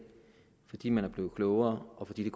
fordi man var blevet klogere og fordi